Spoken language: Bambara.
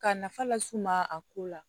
Ka nafa las'u ma a ko la